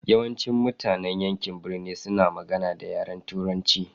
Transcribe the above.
Yawancin mutanen yankin birni suna magana da yaren turanchi.